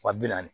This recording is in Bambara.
Wa bi naani